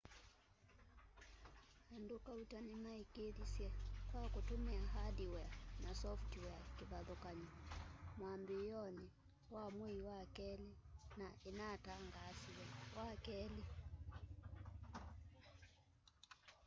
andu kauta nimaikiithisye kwa kutumia hardware na software kivathukany'o mwambiioni wa mwei wa keli na inatangaasiwe wakeli